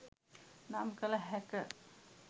නම් කල හැක